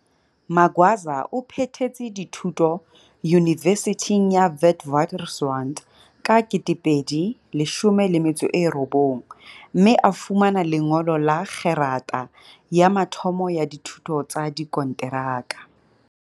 Magwaza o phethetse dithu to Yunivesithing ya Witwaters rand ka 2019, mme a fumana lengolo la kgerata ya mathomo ya dithuto tsa dikonteraka.